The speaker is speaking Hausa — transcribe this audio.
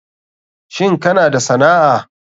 Shin kana da sana'a.